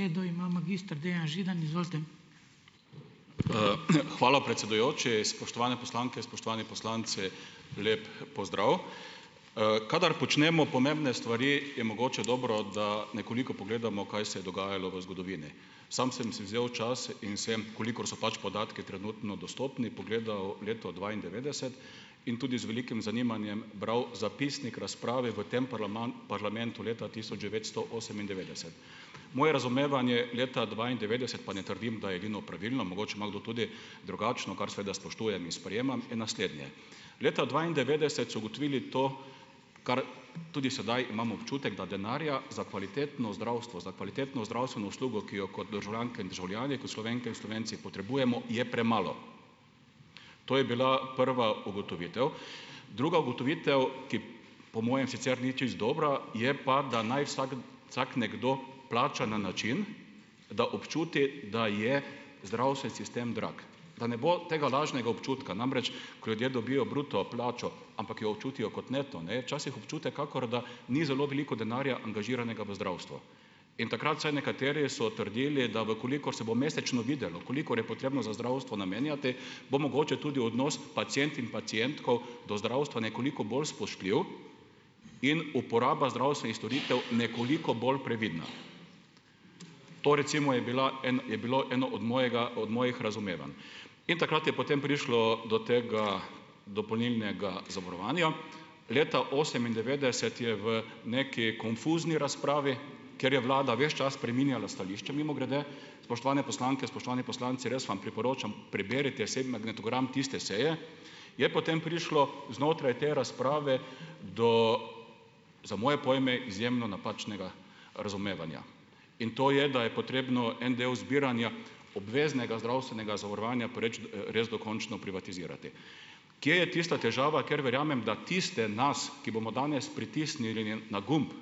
Hvala, predsedujoči. Spoštovane poslanke, spoštovani poslanci, lep pozdrav. Kadar počnemo pomembne stvari, je mogoče dobro, da nekoliko pogledamo, kaj se je dogajalo v zgodovini. Samo sem si vzel čas in sem, kolikor so pač podatki trenutno dostopni, pogledal leto dvaindevetdeset in tudi z velikim zanimanjem bral zapisnik razprave v tem parlamentu leta tisoč devetsto osemindevetdeset. Moje razumevanje leta dvaindevetdeset, pa ne trdim, da je edino pravilno, mogoče ima kdo tudi drugačno, kar seveda spoštujem in sprejemam, je naslednje. Leta dvaindevetdeset so ugotovili to, kar tudi sedaj imam občutek, da denarja za kvalitetno zdravstvo, za kvalitetno zdravstveno uslugo, ki jo kot državljanke in državljani, kot Slovenke in Slovenci, potrebujemo, je premalo. To je bila prva ugotovitev. Druga ugotovitev, ki po mojem sicer ni čisto dobra, je pa, da naj vsak vsak nekdo plača na način, da občuti, da je zdravstven sistem drag, da ne bo tega lažnega občutka. Namreč, ko ljudje dobijo bruto plačo, ampak jo občutijo kot neto, ne, včasih občutek, kakor da ni zelo veliko denarja angažiranega v zdravstvo. In takrat vsaj nekateri so trdili, da v kolikor se bo mesečno videlo, kolikor je potrebno za zdravstvo namenjati, bo mogoče tudi odnos pacient in pacientk do zdravstva nekoliko bolj spoštljiv in uporaba zdravstvenih storitev nekoliko bolj previdna. To recimo je bila en, je bilo eno od mojega, od mojih razumevanj. In takrat je potem prišlo do tega dopolnilnega zavarovanja. Leta osemindevetdeset je v nekaj konfuzni razpravi, kjer je vlada ves čas spreminjala stališče - mimogrede, spoštovane poslanke, spoštovani poslanci, res vam priporočam, preberite vsaj magnetogram tiste seje - je potem prišlo znotraj te razprave do, za moje pojme, izjemno napačnega razumevanja. In to je, da je potrebno en del zbiranja obveznega zdravstvenega zavarovanja proč, res dokončno privatizirati. Kje je tista težava, ker verjamem, da tiste nas, ki bomo danes pritisnili na gumb,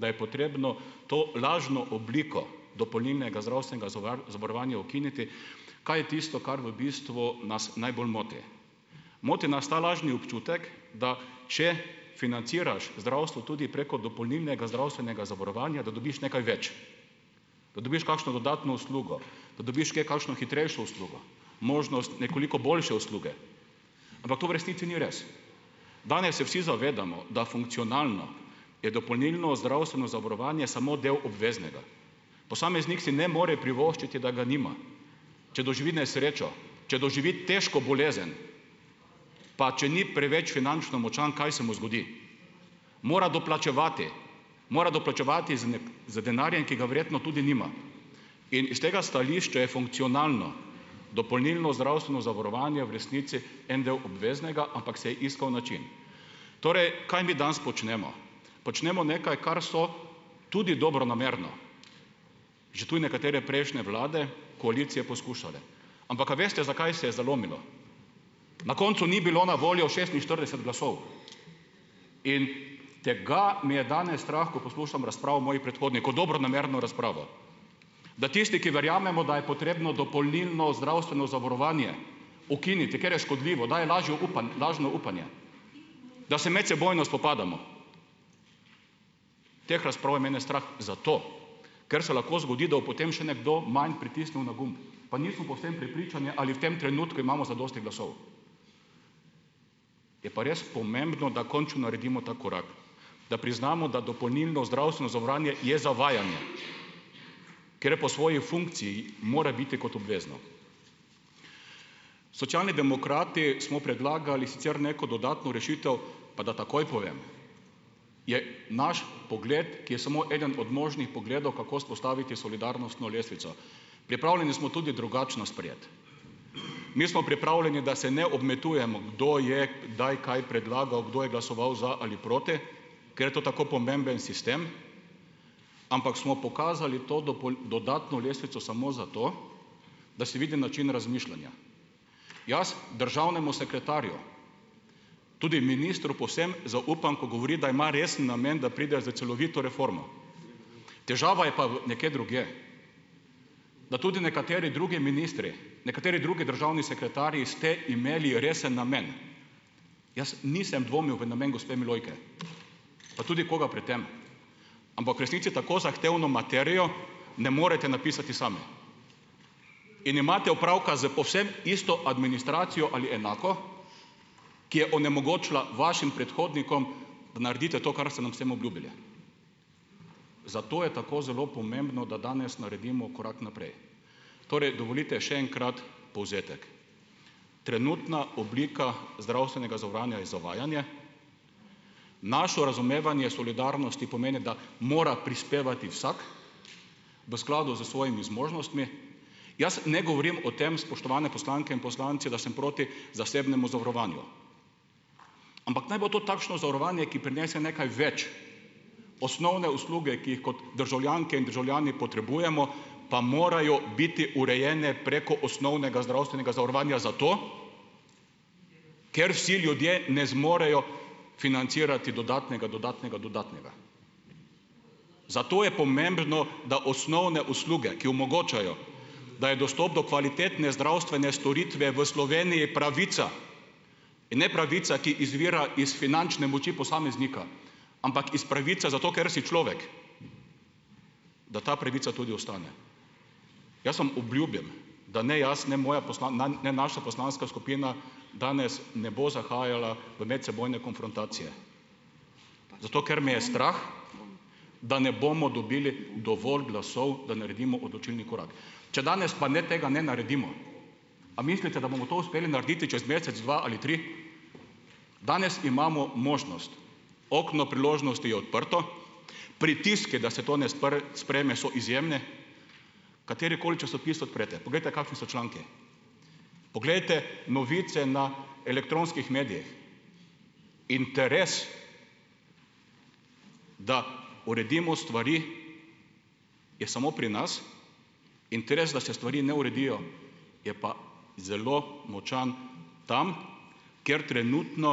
da je potrebno to lažno obliko dopolnilnega zdravstvenega zavarovanja ukiniti, kaj je tisto, kar v bistvu nas najbolj moti. Moti nas ta lažni občutek, da če financiraš zdravstvo tudi preko dopolnilnega zdravstvenega zavarovanja, da dobiš nekaj več, da dobiš kakšno dodatno uslugo, da dobiš kje kakšno hitrejšo uslugo, možnost nekoliko boljše usluge, ampak to v resnici ni res. Danes se vsi zavedamo, da funkcionalno je dopolnilno zdravstveno zavarovanje samo del obveznega. Posameznik si ne more privoščiti, da ga nima. Če doživi nesrečo, če doživi težko bolezen, pa če ni preveč finančno močan, kaj se mu zgodi? Mora doplačevati, mora doplačevati z denarjem, ki ga verjetno tudi nima. In iz tega stališča je funkcionalno dopolnilno zdravstveno zavarovanje v resnici en del obveznega, ampak se je iskal način. Torej, kaj mi danes počnemo. Počnemo nekaj, kar so tudi dobronamerno že tudi nekatere prejšnje vlade, koalicije poskušale. Ampak, a veste, zakaj se je zalomilo? Na koncu ni bilo na voljo šestinštirideset glasov. In tega me je danes strah, ko poslušam razpravo mojih predhodnikov, dobronamerno razpravo, da tisti, ki verjamemo, da je potrebno dopolnilno zdravstveno zavarovanje ukiniti, ker je škodljivo, daje lažje lažno upanje, da se medsebojno spopadamo. Teh razprav je mene strah zato, ker se lahko zgodi, da potem še nekdo manj pritisnil na gumb, pa nismo povsem prepričani, ali v tem trenutku imamo zadosti glasov. Je pa res pomembno, da končno naredimo ta korak, da priznamo, da dopolnilno zdravstveno zavarovanje je zavajanje , ker po svoji funkciji mora biti kot obvezno. Socialni demokrati smo predlagali sicer neko dodatno rešitev, pa da takoj povem, je naš pogled, ki je samo eden od možnih pogledov, kako vzpostaviti solidarnostno lestvico. Pripravljeni smo tudi drugačno sprejeti. Mi smo pripravljeni, da se ne obmetavamo, kdo je kdaj kaj predlagal, kdo je glasoval za ali proti, ker je to tako pomemben sistem, ampak smo pokazali to dodatno lestvico samo zato, da se vidi način razmišljanja. Jaz državnemu sekretarju, tudi ministru, povsem zaupam, ko govori, da ima resen namen, da pridejo s celovito reformo, težava je pa v nekje drugje, da tudi nekateri drugi ministri, nekateri drugi državni sekretarji, ste imeli resen namen. Jaz nisem dvomil v namen gospe Milojke, pa tudi koga pred tem, ampak v resnici tako zahtevno materijo ne morete napisati sami in imate opravka s povsem isto administracijo ali enako, ki je onemogočila vašim predhodnikom, da naredite to, kar ste nam s tem obljubili. Zato je tako zelo pomembno, da danes naredimo korak naprej. Torej, dovolite še enkrat povzetek. Trenutna oblika zdravstvenega zavarovanja je zavajanje, našo razumevanje solidarnosti pomeni, da mora prispevati vsak, v skladu s svojimi zmožnostmi. Jaz ne govorim o tem, spoštovane poslanke in poslanci, da sem proti zasebnemu zavarovanju, ampak naj bo to takšno zavarovanje, ki prinese nekaj več, osnovne usluge, ki jih kot državljanke in državljani potrebujemo, pa morajo biti urejene preko osnovnega zdravstvenega zavarovanje zato, ker si ljudje ne zmorejo financirati dodatnega, dodatnega, dodatnega. Zato je pomembno, da osnovne usluge, ki omogočajo, da je dostop do kvalitetne zdravstvene storitve v Sloveniji pravica, ne pravica, ki izvira iz finančne moči posameznika, ampak iz pravice, zato ker si človek, da ta pravica tudi ostane. Jaz vam obljubim, da ne jaz, ne moja ne naša poslanska skupina, danes, ne bo zahajala v medsebojne konfrontacije, zato ker me je strah, da ne bomo dobili dovolj glasov, da naredimo odločilni korak. Če danes pa ne tega ne naredimo, a mislite, da bomo to uspeli narediti čez mesec, dva ali tri? Danes imamo možnost, okno priložnosti odprto, pritiski, da se to ne sprejme, so izjemni, katerikoli časopis odprete, poglejte, kakšni so članki, poglejte novice na elektronskih medijih. Interes, da uredimo stvari, je samo pri nas, interes, da se stvari ne uredijo, je pa zelo močan tam, kjer trenutno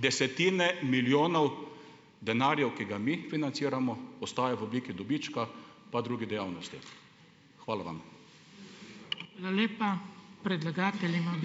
desetine milijonov denarjev, ki ga mi financiramo, ostaja v obliki dobička, pa druge dejavnosti. Hvala vam.